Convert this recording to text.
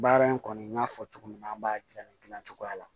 Baara in kɔni n y'a fɔ cogo min na an b'a dilan ni dilan dilancogo la